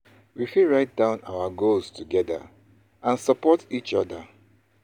We fit write down our goals together and support each other.